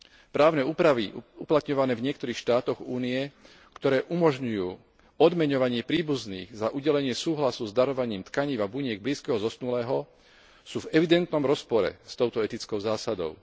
Právne úpravy uplatňované v niektorých štátoch Únie, ktoré umožňujú odmeňovanie príbuzných za udelenie súhlasu s darovaním tkanív a buniek blízkeho zosnulého, sú v evidentnom rozpore s touto etickou zásadou.